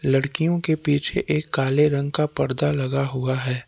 लड़कियों के पीछे एक काले रंग का पर्दा लगा हुआ है।